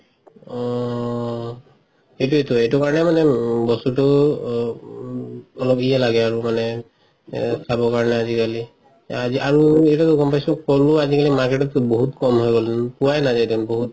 অ সেইটোয়েটো এইটো কাৰণে মানে উম বস্তুটো অ ও অলপ ইয়ে লাগে আৰু মানে খাব কাৰণে আজিকালি আজি আৰু এতিয়াটো গম পাইছো ফলো আজিকলি market ত বহুত কম হৈ গল পোৱাই নাজাই এতিয়া বহুত